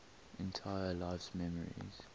entire life's memories